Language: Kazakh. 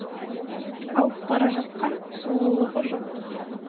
алып бара жатқан сұлулығы жоқ